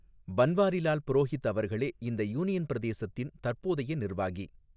பன்வாரிலால் புரோஹித் அவர்களே இந்த யூனியன் பிரதேசத்தின் தற்போதைய நிர்வாகி.